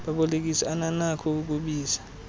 babolekisi ananakho ukubiza